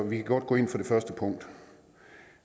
vi kan godt gå ind for det første punkt